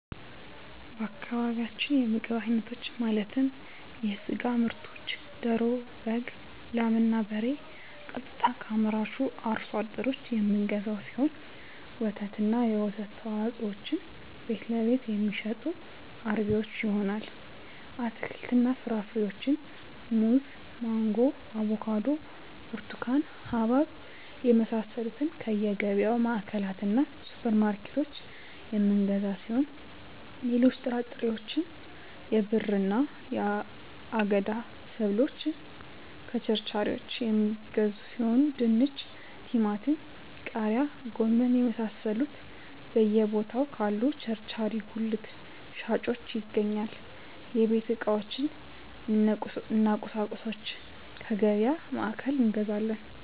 በአካባቢያችን የምግብ አይነቶች ማለትም የስጋ ምርቶችን ደሮ በግ ላም እና በሬ ቀጥታ ከአምራቹ አርሶ አደሮች የምንገዛው ሲሆን ወተትና የወተት ተዋፅኦዎችን ቤትለቤት የሚሸጡ አርቢዎች ይሆናል አትክልትና ፍራፍሬዎችን ሙዝ ማንጎ አቮካዶ ብርቱካን ሀባብ የመሳሰሉትከየገቢያ ማዕከላትእና ሱፐር ማርኬቶች የምንገዛ ሲሆን ሌሎች ጥራጥሬዎች የብዕርና የአገዳ ሰብሎችን ከቸርቻሪዎች የሚገዙ ሲሆን ድንች ቲማቲም ቃሪያ ጎመን የመሳሰሉት በየ ቦታው ካሉ ቸርቻሪ ጉልት ሻጮች ይገኛል የቤት ዕቃዎች እነ ቁሳቁሶች ከገቢያ ማዕከላት እንገዛለን